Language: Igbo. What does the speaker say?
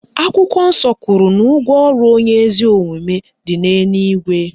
Akwụkwọ nsọ kwuru na ụgwọ ọrụ onye ezi omume dị n'eluigwe